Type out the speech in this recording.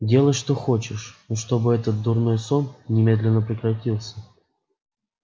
делай что хочешь но чтобы этот дурной сон немедленно прекратился